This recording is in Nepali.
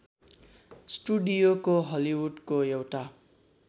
स्टुडियोको हलिवुडको एउटा